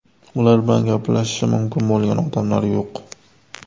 Ular bilan gaplashishi mumkin bo‘lgan odamlar yo‘q.